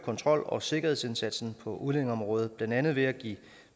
kontrol og sikkerhedsindsatsen på udlændingeområdet blandt andet ved at give